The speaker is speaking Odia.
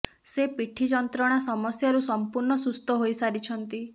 ସେ ପିଠି ଯନ୍ତ୍ରଣା ସମସ୍ୟାରୁ ସଂପୂର୍ଣ୍ଣ ସୁସ୍ଥ ହୋଇ ସାରିଛନ୍ତି